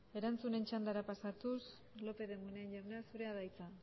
erantzunen txandara pasatuz lópez de munain jauna zurea da hitza